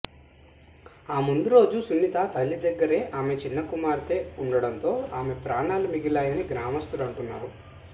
ఆ ముందురోజు సునీత తల్లిదగ్గరే ఆమె చిన్న కుమార్తె ఉండడంతో ఆమె ప్రాణాలు మిగిలాయని గ్రామస్థులు అంటున్నారు